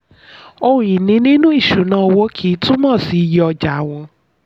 ohun-ìní nínú ìṣúná owó kì í túmọ̀ sí iye ọjà wọn.